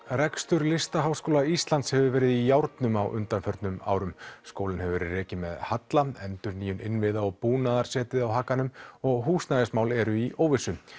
rekstur Listaháskóla Íslands hefur verið í járnum á undanförnum árum skólinn hefur verið rekinn með halla endurnýjun innviða og búnaðar setið á hakanum og húsnæðismál eru í óvissu